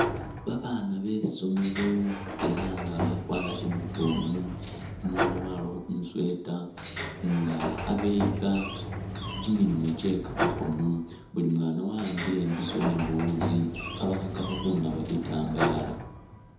Babaana besomelo ela nga bawkwala uniform, umulala walakho kumusweater nga khabeyika kimilimo kye kamakhoono, buli mwaana wawambile imbiso ni buwuutsi khabakhakakho khunaaba bitambala